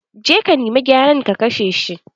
Je ka nima gyaren, ka kashe shi!